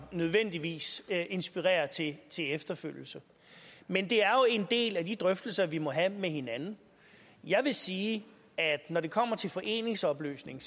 nødvendigvis inspirerer til til efterfølgelse men det er jo en del af de drøftelser vi må have med hinanden jeg vil sige at jeg når det kommer til foreningsopløsning